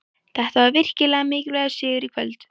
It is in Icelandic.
Þetta var virkilega mikilvægur sigur í kvöld.